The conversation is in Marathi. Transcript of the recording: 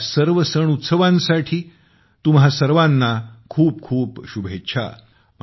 या सर्व सण उत्सवांसाठी तुम्हा सर्वांना खूप खूप शुभेच्छा